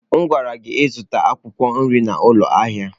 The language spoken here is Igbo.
M gwara gị ka ị zụta akwụkwọ nri n'ụlọ ahịa!